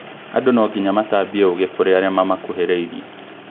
Andũ nongīnya matambie ũũgĩ kũrĩ arĩa mamakũhĩrĩirie